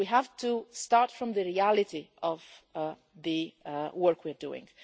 We have to start from the reality of the work we are doing.